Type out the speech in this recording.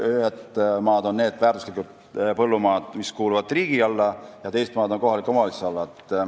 Ühed maad, väärtuslikud põllumaad on need, mis kuuluvad riigi alla, ja teised on kohaliku omavalitsuse all.